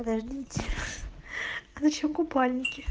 подождите зачем купальники